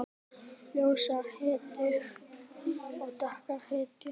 Ljósar hetjur og dökkar hetjur.